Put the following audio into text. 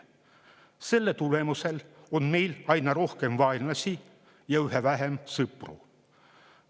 Selle tulemusel on meil aina rohkem vaenlasi ja üha vähem sõpru.